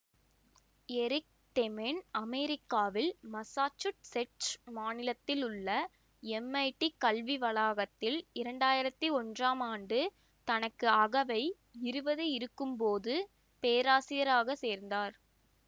Eric Demaine அமெரிக்காவில் Massachusetts மாநிலத்தில் உள்ள எம்ஐடி கல்விக்கழகத்தில் இரண்டு ஆயிரத்தி ஒன்றாம் ஆண்டு தனக்கு அகவை இருபது இருக்கும் பொழுது பேராசிரியராகச் சேர்ந்தார்